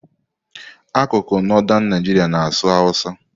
Akụkụ Northern Nigeria na-asụ Hausa.